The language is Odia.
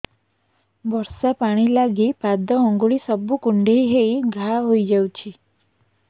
ବର୍ଷା ପାଣି ଲାଗି ପାଦ ଅଙ୍ଗୁଳି ସବୁ କୁଣ୍ଡେଇ ହେଇ ଘା ହୋଇଯାଉଛି